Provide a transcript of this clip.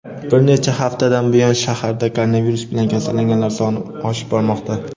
bir necha haftadan buyon shaharda koronavirus bilan kasallanganlar soni oshib bormoqda.